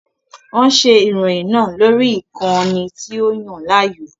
Wọ́n ṣe ìròyìn náà lórí ìkànnì tí ó Yàn láàyò